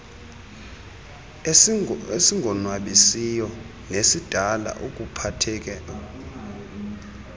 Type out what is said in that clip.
esingonwabisiyo nesidala ukuphatheka